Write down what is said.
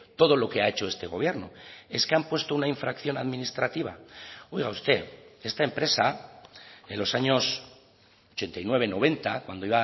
todo lo que ha hecho este gobierno es que han puesto una infracción administrativa oiga usted esta empresa en los años ochenta y nueve noventa cuando